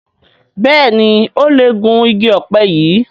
Béèni o lẹ Gún ìgi òpe yí.